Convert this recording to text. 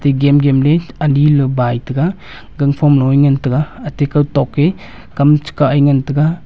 egan gam ley ani lou bai tega ganphom loa ngan ate kow tok ke kam chu kow tega.